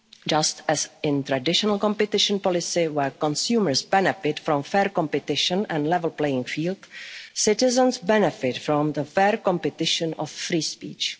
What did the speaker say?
in democracies. Just as in traditional competition policy where consumers benefit from fair competition and a level playing field, citizens benefit from fair competition